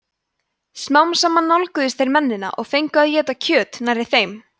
smám saman nálguðust þeir mennina og fengu að éta kjöt nærri þeim